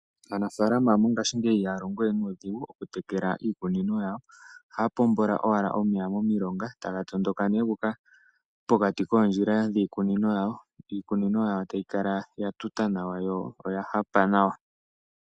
Aanafalama mongashingeyi ihaya longowe nuudhigu oku tekela iikunino yawo. Ohaya pombo owala omeya momilonga etaga tondoka gu uka pokati koondjila dhiikunino yawo, iikunino yawo etayi kala ya tuta nawa yo oya hapa nawa.